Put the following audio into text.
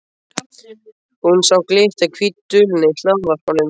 Hún sá glitta á hvítu duluna í hlaðvarpanum.